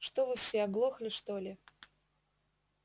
что вы все оглохли что ли